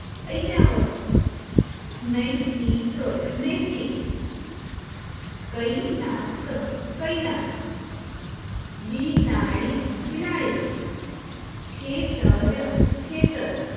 ઐરાવત નૈતિક નૈતિક કૈલાશ કૈલાશ બિલાડી બિલાડી ખેતર ખેતર